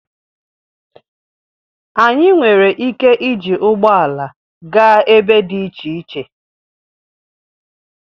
Anyị nwere ike iji ụgbọ ala gaa ebe dị iche iche